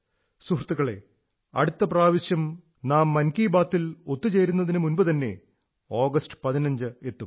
സുഹൃത്തുക്കളേ അടുത്ത പ്രാവശ്യം നാം മൻ കീ ബാത് ൽ ഒത്തുചേരുന്നതിനു മുമ്പുതന്നെ ആഗസ്റ്റ് 15 എത്തും